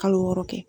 Kalo wɔɔrɔ kɛ